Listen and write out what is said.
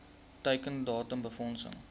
teiken datum befondsing